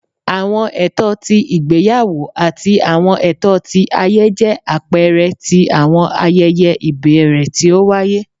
Awọn ẹtọ ti igbeyawo ati awọn ẹtọ ti aye jẹ apẹẹrẹ ti awọn ayẹyẹ ibẹrẹ ti o waye